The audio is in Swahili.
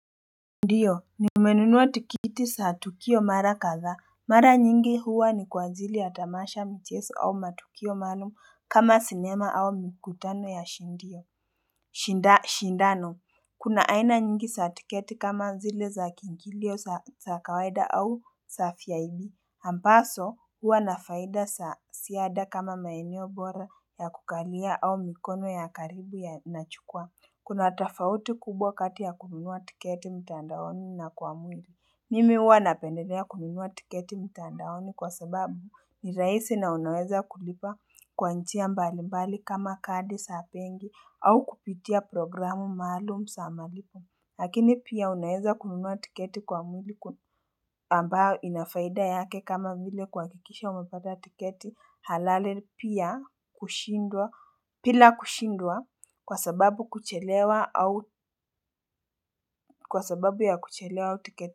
Ndiyo nimenunua tikiti za tukio mara kadhaa, mara nyingi huwa ni kwa ajili ya tamasha mchezo au matukio maalumu kama sinema au mikutano ya shindano Kuna aina nyingi za tiketi kama zili za kiingilio za kawaida au za VIP ambazo huwa na faida za ziada kama maeneo bora ya kukalia au mikono ya karibu yanachukua Kuna tafauti kubwa kati ya kununua tiketi mtandaoni na kwa mwili. Mimi huwa napendelea kununua tiketi mtandaoni kwa sababu ni rahisi na unaweza kulipa kwa njia mbali mbali kama kadi za bengi au kupitia programu maalumu za malipo. Lakini pia unaeza kununua tiketi kwa mwili ambayo inafaida yake kama vile kuhakikisha umepata tiketi halali pia bila kushindwa kwa sababu ya kuchelewa tiketi.